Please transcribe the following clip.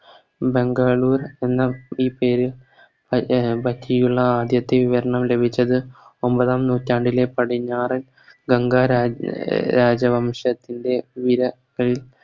ബംഗളൂർ എന്ന ഈ പേര് അഹ് എ പറ്റിയുള്ള ആദ്യത്തെ വിവരണം ലഭിച്ചത് ഒമ്പതാം നൂറ്റാണ്ടിലെ പടിഞ്ഞാറൻ വങ്ക രാജ രാജവംശത്തിൻറെ ധീര തയിൽ